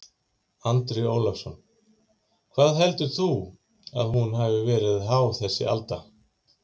Andri Ólafsson: Hvað heldur þú að hún hafi verið há þessi alda?